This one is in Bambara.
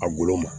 A golo ma